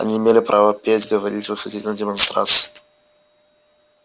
они имели право петь говорить выходить на демонстрации